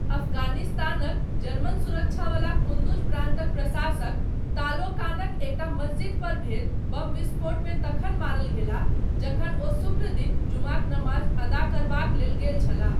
अफगानिस्तानक, German सुरक्षावला कुन्दुज प्रान्तक प्रशासक, तालोकानक, एकटा मस्जिदपर भेल बम विस्फोटमे तखन मारल गेलाह, जखन ओ शुक्र दिन, जुमाक नमाज अदा करबाक लेल गेल छलाह।